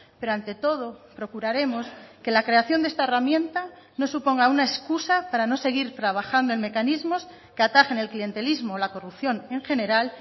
pero ante todo procuraremos que la creación de esta herramienta no suponga una excusa para no seguir trabajando en mecanismos que atajen el clientelismo o la corrupción en general